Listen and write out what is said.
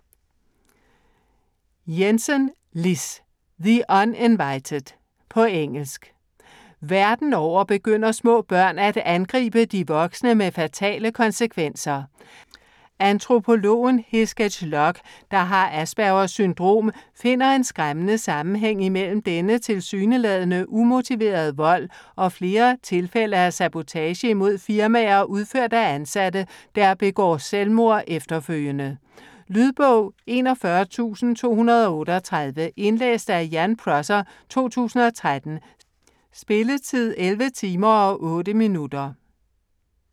Jensen, Liz: The uninvited På engelsk. Verden over begynder små børn at angribe de voksne med fatale konsekvenser. Antropologen Hesketh Lock, der har Aspergers syndrom, finder en skræmmende sammenhæng imellem denne tilsyneladende umotiverede vold og flere tilfælde af sabotage imod firmaer udført af ansatte, der begår selvmord efterfølgende. Lydbog 41238 Indlæst af Ian Prosser, 2013. Spilletid: 11 timer, 8 minutter.